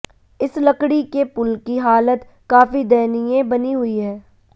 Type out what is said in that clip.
इस लकड़ी के पुल की हालत काफी दयनीय बनी हुई है